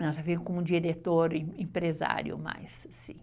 Ele ficou como diretor empresário mais, assim.